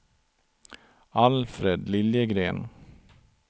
Alfred Liljegren